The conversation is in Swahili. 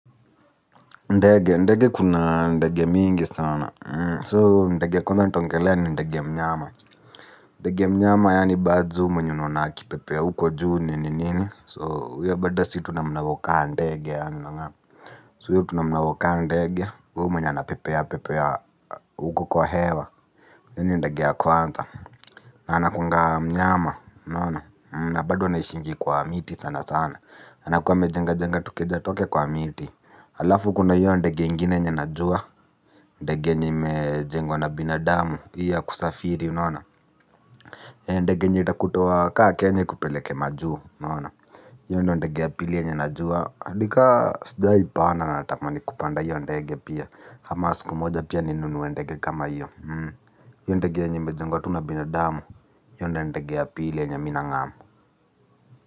Ndege ndege kuna ndege mingi sana so ndege yakwanza nitaongelea ni ndege mnyama ndege mnyama yaani birds mnyononaki pepe ya huko juu ni nini so huye badda si tunamunawokaa ndege ya so huye tunamunawokaa ndege huu mnyana pepea pepea huko kwa hewa yini ndege ya kwanza na anakunga mnyama nana na badu wanashingi kwa miti sana sana anakuwa mejenga jenga tukeja twake kwa miti alafu kuna iyo ndege ingine yenye najua ndege yenye imejebgwa na binadamu iyo ya kusafiri unaona ndege yenye itakutoa ka kenya ikupeleke majuu. Hiyo ndege apilie nyanajua adika sida ipana na tamani kupanda hiyo ndege pia hamas kumoja pia ninunu ndege kama hiyo. Hiyo ndege njime jengwa tuna binadamu hiyo ndege apilie nyananajua.